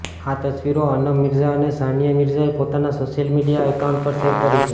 આ તસવીરો અનમ મિર્ઝા અને સાનિયા મિર્ઝાએ પોતાના સોશિયલ મીડિયા એકાઉન્ટ પર શેર કરી છે